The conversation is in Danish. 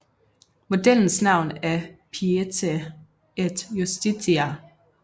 Modellens navn er Pietate et justitia